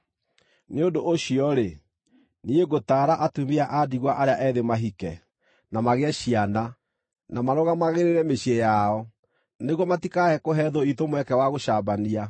Nĩ ũndũ ũcio-rĩ, niĩ ngũtaara atumia a ndigwa arĩa ethĩ mahike, na magĩe ciana, na marũgamagĩrĩre mĩciĩ yao, nĩguo matikae kũhe thũ iitũ mweke wa gũcambania.